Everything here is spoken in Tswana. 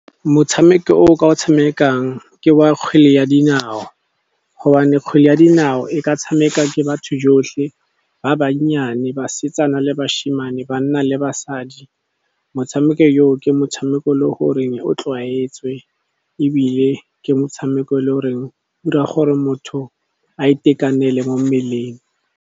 Motshameko o ke o tshamekang ke wa kgwele ya dinao. Gobane kgwele ya dinao e ka tshameka ke batho jotlhe ba bannyane, basetsana le bashimane, banna le basadi. Motshameko yo ke motshameko o e leng gore o tlwaetswe, ebile ke motshameko e leng gore o dira gore motho a itekanele mo mmeleng.